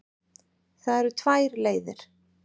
Það eru tvær leiðir.